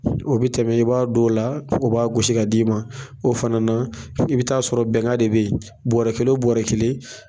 O bi tɛmɛ i b'a don la, o b'a gosi ka d'i ma, o fana na, i bi taa sɔrɔ bɛnga de be yen bɔrɔ kelen o bɔrɔ kelen